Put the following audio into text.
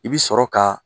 I bi sɔrɔ ka